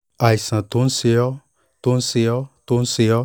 àìsàn tó ń ṣe ọ́ tó ń ṣe ọ́ tó ń ṣe ọ́